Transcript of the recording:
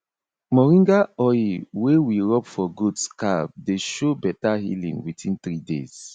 moringa oil wey we rub for goat scab dey show better healing within three days